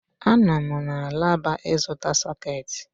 Ánọ m na alaba ịzụta sọ̀két